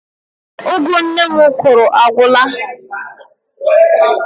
Ụgụ nne m kụrụ agwụla.